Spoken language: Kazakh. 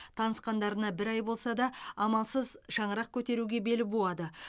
танысқандарына бір ай болса да амалсыз шаңырақ көтеруге бел буады